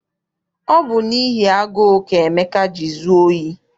Ọ bụ n'ihi agụụ ka Emeka ji zụọ ohi.